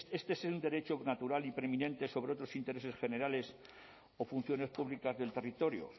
este es el derecho natural y preeminente sobre otros intereses generales o funciones públicas del territorio